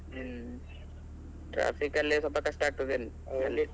ಹ್ಮ್ . Traffic ಅಲ್ಲೇ ಸ್ವಲ್ಪ ಕಷ್ಟ ಆಗ್ತದೇನೋ .